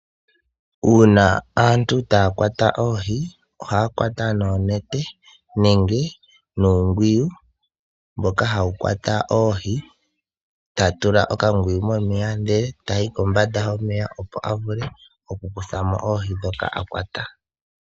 Uuna aantu taya kwata oohi ohaya kwata noonete nenge nuungwiyu mboka hawu kwata oohi, ta tula okangwiyu momeya ndele tayi kombanda yomeya opo a vule okukuthamo oohi dhoka a kwata.